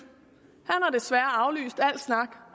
har desværre afvist al snak